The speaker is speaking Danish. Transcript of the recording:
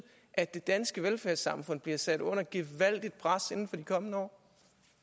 at det danske velfærdssamfund bliver sat under et gevaldigt pres inden for de kommende år